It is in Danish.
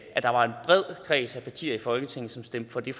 der var en bred kreds af partier i folketinget som stemte for det